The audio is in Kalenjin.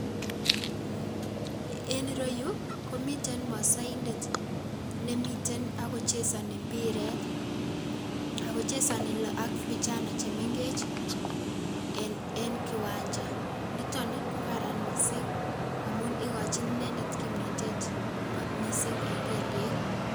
En ireyuu komiten mosoindet nemiten ak ko chesoni mbiret, ak ko chesoni ak vijana chemeng'ech en kiwanja, niton komaran mising amuun ikochin inendet kimnotet mising en kelyek.